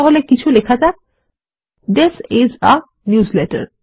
তাহলে কিছু লেখা যাক থিস আইএস a নিউজলেটার